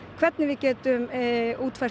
hvernig við getum útfært